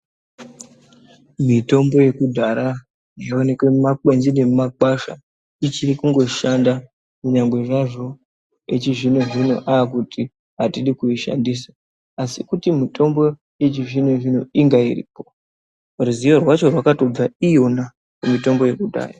Mitombo yekudhara yooneka muma kwenzi ngemumakwasha ichiri kungoshanda kunyangwe zvazvo echizvino zvino aakuti atidi kuishandisa asi kuti mitombo yechizvino zvino inga iripo ruzivo rwacho rwakatobva iyona mitombo yekudhaya.